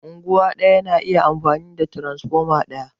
Unguwa ɗaya na iya amfani da tiransfoma ɗaya